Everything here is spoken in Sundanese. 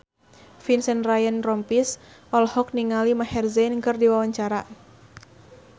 Vincent Ryan Rompies olohok ningali Maher Zein keur diwawancara